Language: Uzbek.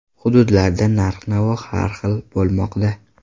Hududlarda narx-navo har xil bo‘lmoqda.